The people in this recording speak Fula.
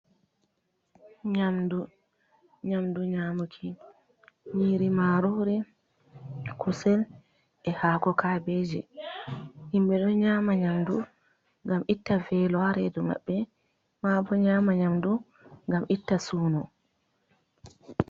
Nyamndu, nyamndu nyaamuki, nyiiri maaroori, kusel, e haako kaabiije, himɓe ɗo nyaama nyamndu ngam itta veelo haa reedu maɓɓe maa bo, nyaama nyamndu ngam itta suunu.